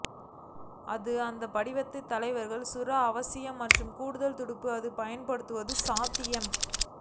அது இந்த படிவத்தை தலைவர் சுறா அவசியம் மற்றும் கூடுதல் துடுப்பு அது பயன்படுத்தும் சாத்தியம்